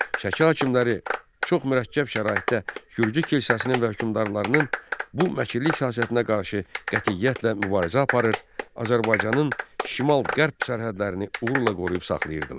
Şəki hakimləri çox mürəkkəb şəraitdə gürcü kilsəsinin və hökmdarlarının bu məkirli siyasətinə qarşı qətiyyətlə mübarizə aparır, Azərbaycanın şimal-qərb sərhədlərini uğurla qoruyub saxlayırdılar.